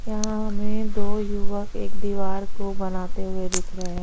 यहाँ हमें दो युवक एक दीवार को बनाते हुए दिख रहे--